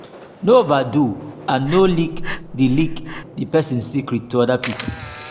no overdo and no leak di leak di person secret to oda people